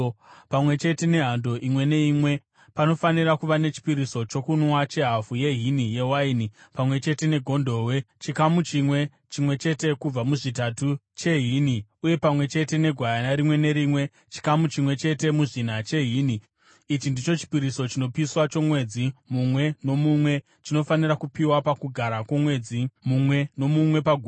Pamwe chete nehando imwe neimwe, panofanira kuva nechipiriso chokunwa chehafu yehini yewaini; pamwe chete negondobwe, chikamu chimwe chete kubva muzvitatu chehini ; uye pamwe chete negwayana rimwe nerimwe, chikamu chimwe chete muzvina chehini . Ichi ndicho chipiriso chinopiswa chomwedzi mumwe nomumwe chinofanira kupiwa pakugara kwomwedzi mumwe nomumwe pagore.